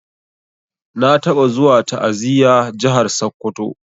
Na taba zuwa ta'aziya jahar sokoto.